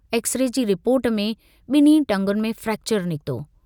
X-ray जी report में ब॒न्हीं टंगुनि में फ्रेक्चर निकितो।